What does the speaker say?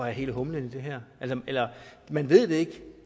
er hele humlen i det her man ved det ikke